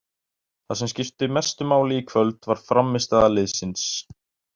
Það sem skipti mestu máli í kvöld var frammistaða liðsins.